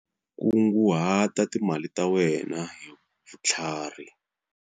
Kunguhata timali ta wena hi vutlharhi.